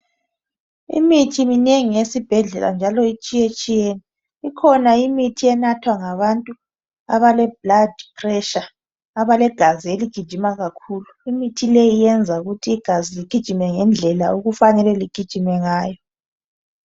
Imithi minengi esibhedlela njalo itshiye tshiyene kukhona imithi enathwa ngabantu abale high blood pressure, abalegazi eligijima kakhulu imithi leyi yenza ukut igazi ligijime ngendlela okufanele ligijime ngalo